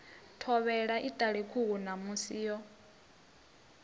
thovhela iṱali khuhu ṋamusi yo